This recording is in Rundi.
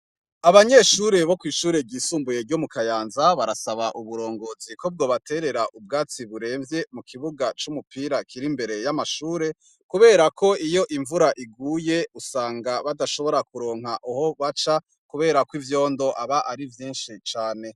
Abanyeshure bo kw'ishuri ryisumbuye ryo mukayanza barasaba uburongozi ko bwobaterera ubwatsi buremvye mukibuga c'umupira kir'imbere y'amashure kuberako iyo imvura iguye usanga badashobora kuronka ahobaca kuberako ivyondo aba ari vyishi cane.